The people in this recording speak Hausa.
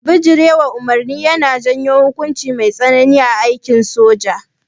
Bijirewa umarni yana janyo hukunci mai tsanani a aikin soja